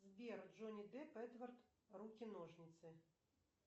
сбер джонни депп эдвард руки ножницы